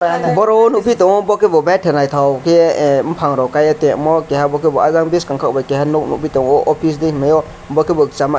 ang boro o nukgwi tongo bokhe bo betha naithao khe eh buphang rao kaiye tongyamo keha khebo ah biskango khebo nok nugui tongo office hinmaiyo bokhebo chama.